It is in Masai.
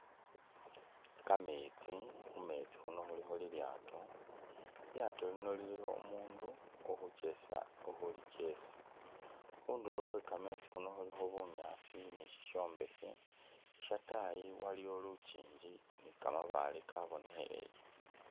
Kametsi khumetsi khuuno khulikho i'lyato khu'lyato khuuno khulikho umundu ukhuchesa ulikhuchesa, khundulo khwe kametsi khuuno khulikho bunyaasi nishishombekhe, shatayii waliyo lunkinki ni kamabaale byabonekheyeye.